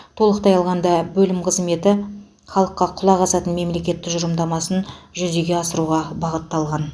толықтай алғанда бөлім қызметі халыққа құлақ асатын мемлекет тұжырымдамасын жүзеге асыруға бағытталған